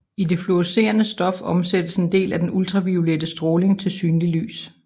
I det fluorescerende stof omsættes en del af den ultraviolette stråling til synligt lys